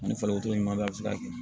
Ani fakoto ɲuman bɛ a bɛ se ka kɛ